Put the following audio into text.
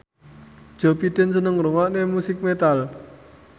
Joe Biden seneng ngrungokne musik metal